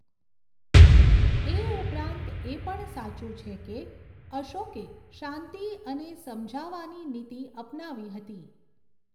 એ ઉપરાંત એ પણ સાચું છે કે અશોકે શાંતિ અને સમજાવાની નીતિ અપનાવી હતી.